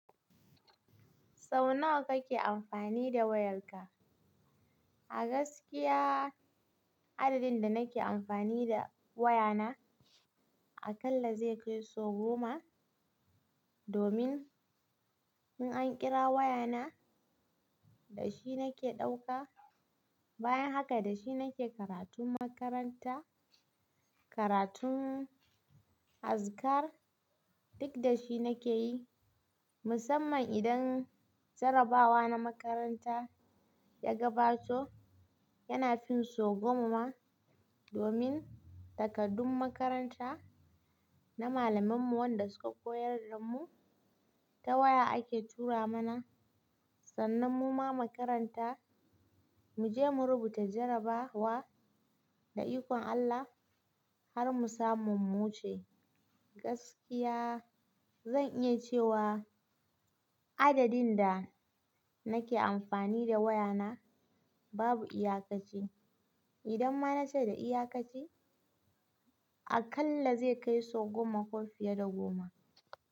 Sau nawa kake amfani da wayarka? A gaskiya adadin da nake amfani da wayana a kalla zai kai sau goma, domin in an kira wayana da shi nake ɗauka. Bayan haka da shi nake karatun makaranta, karatun azkar duk da shi nake yi. Musamman idan jarrabawa na makaranta ya gabato yana fin sau goma ma, domin takardun makaranta na malamanmu wanda suka koyar da mu ta waya ake tura mana. Sannan muma mu makaranta mu je mu rubuta jarrabawa da ikon Allah har mu samu mu wuce. Gaskiya zan iya cewa adadin da nake amfani da wayana babu iyakaci. Idan ma na ce da iyakaci a kalla zai kai sau goma ko fiye da goma.